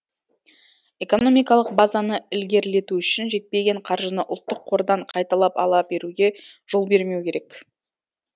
экономикалық базаны ілгерілету үшін жетпеген қаржыны ұлттық қордан қайталап ала беруге жол бермеу керек